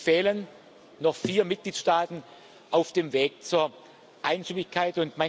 Es fehlen noch vier Mitgliedstaaten auf dem Weg zur Einstimmigkeit.